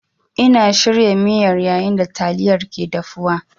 Ina shirya miyar yayin da yayin da taliyar ke dafuwa.